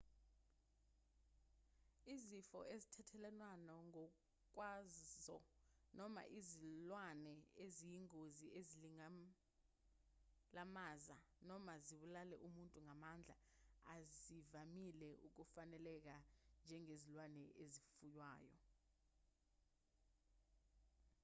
izifo ezithelelwanayo ngokwazo noma izilwane eziyingozi ezingalimaza noma zibulale umuntu ngamandla azivamile ukufaneleka njengezilwane ezifuywayo